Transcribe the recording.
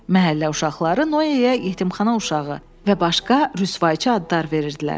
Məhəllə uşaqları Noeyə "yetimxana uşağı" və başqa rüsvayçı adlar verirdilər.